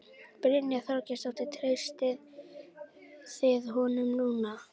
Brynja Þorgeirsdóttir: Treystið þið honum núna?